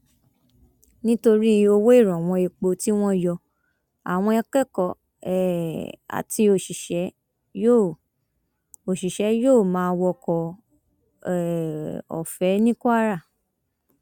nítorí owó ìrànwọ epo tí wọn yọ àwọn akẹkọọ um àti òṣìṣẹ yóò òṣìṣẹ yóò máa wọkọ um ọfẹ ní kwara